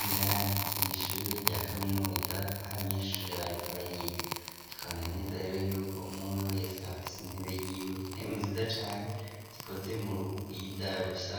indani mu ishure rya kaminuza h abanyeshure bariko bariga tukabona neza rero yuko umumwe wese afisi intebe y'iwe intebe nziza cyane zikoze mu ruhugu y'ida rusa